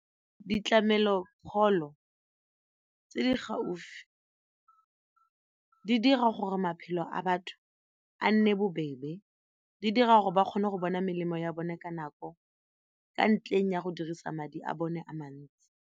Ditlamelo pholo tse di gaufi di dira gore maphelo a batho a nne bobebe, di dira gore ba kgone go bona melemo ya bone ka nako ka ntleng ya go dirisa madi a bone a mantsi.